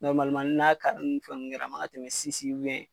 n'a ka ni fɛn nunnu kɛra a makan ka tɛmɛ